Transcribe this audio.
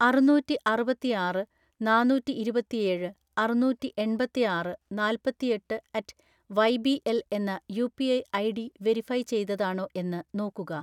അറുനൂറ്റിഅറുപത്തിആറ് നാന്നൂറ്റിഇരുപത്തിഏഴ് അറുന്നൂറ്റിഎൺപത്തിആറ് നാല്പത്തിഎട്ട് അറ്റ് വൈബിഎൽ എന്ന യുപിഐ ഐഡി വെരിഫൈ ചെയ്തതാണോ എന്ന് നോക്കുക